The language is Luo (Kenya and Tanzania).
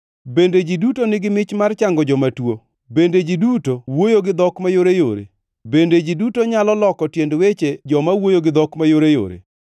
Bende ji duto nigi mich mar chango joma tuo? Bende ji duto wuoyo gi dhok mayoreyore? Bende ji duto nyalo loko tiend weche joma wuoyo gi dhok mayoreyore?